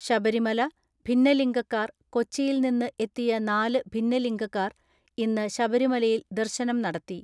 ശബരിമല, ഭിന്നലിംഗക്കാർ, കൊച്ചിയിൽ നിന്ന് എത്തിയ നാല് ഭിന്നിലംഗക്കാർ ഇന്ന് ശബരിമലയിൽ ദർശനം നടത്തി.